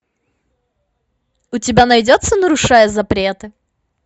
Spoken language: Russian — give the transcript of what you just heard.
у тебя найдется нарушая запреты